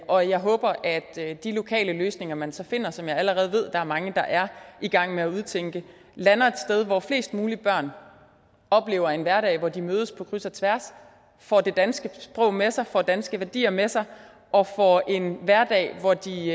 og jeg håber at at de lokale løsninger man så finder som jeg allerede ved der er mange der er i gang med at udtænke lander et sted hvor flest mulige børn oplever en hverdag hvor de mødes på kryds og tværs får det danske sprog med sig får danske værdier med sig og får en hverdag hvor de